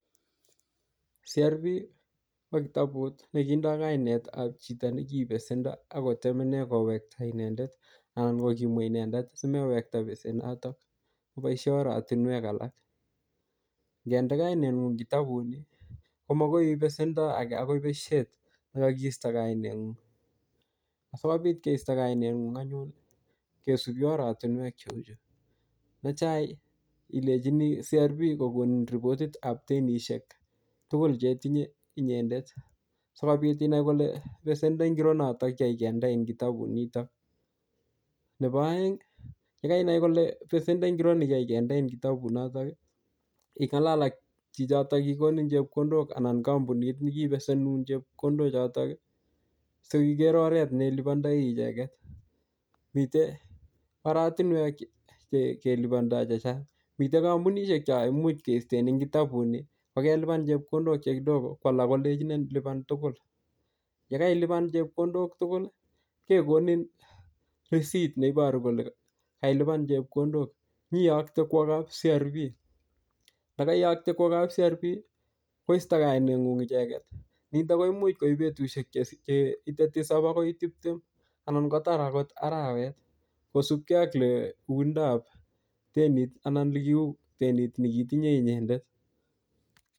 CRB ko kitabut ne kindoi kainet ap chito ne kibesendo akotemene kowekta inendet, anan kokimu inendet, simewekta besenotok. Boisie oratunwek alak. Ngende kainet ngung kitabut nii, komakoi iip besendo age akoi beshet ne kakiiisto kainet ng'ung. Sikobit keisto kainet ng'ung anyun, kesubi oratunwek cheu chuu. Ne tai, ilejini CRB kokonin ripotit ap denishek tugul che itinye inyendet. Sikobit inai kole besendo ngiro notok yekiyai kendein kitabut nitok. Nebo aeng, ye kainai kole besendo ngiro ne kiayi kendein kitabut notok, ingalal ak chichotok kikonin chepkondok anan kampunit ne kibesenun chepkondok chotok, siiker oret ne ilipandoi icheket. Mitei oratunwek che-che kelepandoi chechang. Mitei kampunishek cho imuch keisten eng kitabut nii, ko kelipan chepkondok che kidogo. Ko alak kolechinin ilipan tugul. Yekailipan chepkondok tugul ,kekonin risit neiboru kole kailipan chepkondok. Nyiyokte kwo kap CRB . Yekaiyokte kwo kap CRB, koistoi kainet ngung icheket. Nitok koimuch koip betusiek che-cheite tisap akoi tiptem. Anan kotar angot arawet, kosupkei ak le oindap denit anan ole kiuu denit ne kitinye inyendet.